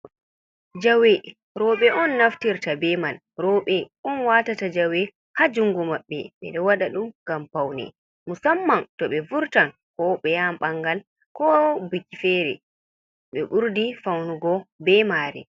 Jawe, rowɓe on naftirta be man. Rowɓe on watata jawe ha jungo maɓɓe. Ɓe ɗo waɗa ɗum ngam paune, musamman to ɓe vurtan, ko ɓe yaha ɓangal, ko biki fere ɓe ɓurdi faunugo be mare.